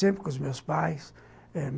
Sempre com os meus pais eh.